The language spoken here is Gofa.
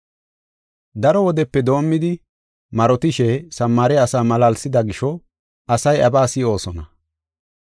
Daro wodepe doomidi marotishe Samaare asa malaalsida gisho asay iyabaa si7oosona.